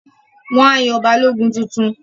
Wọ́n á yan Balógun tuntun